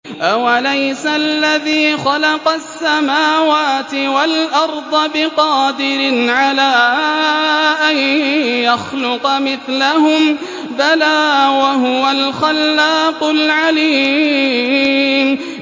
أَوَلَيْسَ الَّذِي خَلَقَ السَّمَاوَاتِ وَالْأَرْضَ بِقَادِرٍ عَلَىٰ أَن يَخْلُقَ مِثْلَهُم ۚ بَلَىٰ وَهُوَ الْخَلَّاقُ الْعَلِيمُ